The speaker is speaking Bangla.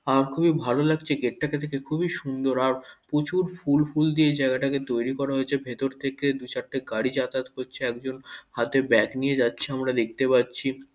আর খুবই ভালো লাগছে এই গেট টা কে দেখে খুবই সুন্দর আর প্রচুর ফুল ফুল দিয়ে এই জায়গাটাকে তৈরি করা হয়েছে। ভেতর থেকে দু-চারটে গাড়ি যাতায়াত করছে। একজন হাতে ব্যাগ নিয়ে যাচ্ছে আমরা দেখতে পাচ্ছি।